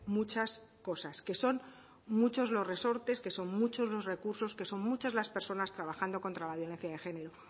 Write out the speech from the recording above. muchas cosas que son muchos los resortes que son muchos los recursos que son muchas las personas trabajando contra la violencia de género